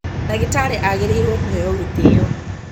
ndagĩtarĩ agĩrĩirwo kũheo gĩtĩo